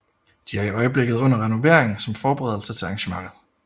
De er i øjeblikket under renovering som forberedelse til arrangementet